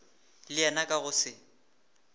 le yena ka go se